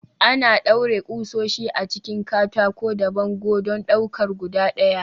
Ana ɗaure ƙusoshi a cikin katako da bango don ɗaukar guda ɗaya.